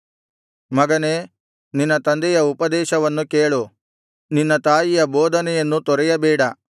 ಮಗನೇ ನಿನ್ನ ತಂದೆಯ ಉಪದೇಶವನ್ನು ಕೇಳು ನಿನ್ನ ತಾಯಿಯ ಬೋಧನೆಯನ್ನು ತೊರೆಯಬೇಡ